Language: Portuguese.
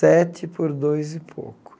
Sete por dois e pouco.